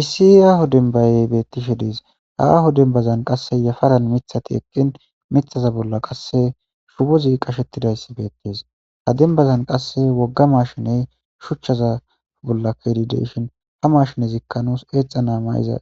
Issi yaaho denbayey beettishe diis haaho dembazan qasse yafaran mithati eqqin mithaza bolla qasse shubozi qashettidayssi beettis ha denbazan qasse wogga mashiney shuchchaza bolla kedideyshin ha mashine zikkanuus eexa na mayiza